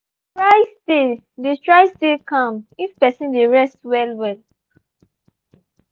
i go dey try stay dey try stay calm if person dey rest well well.